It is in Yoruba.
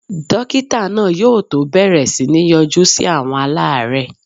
Dókítà náà yóò tó bẹ̀rẹ̀ sí ní yọjú sí àwọn aláàrẹ́ẹ̀.